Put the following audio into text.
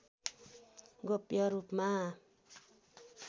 गोप्य रूपमा